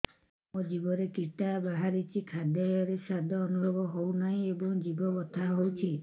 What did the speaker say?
ମୋ ଜିଭରେ କିଟା ବାହାରିଛି ଖାଦ୍ଯୟରେ ସ୍ୱାଦ ଅନୁଭବ ହଉନାହିଁ ଏବଂ ଜିଭ ବଥା ହଉଛି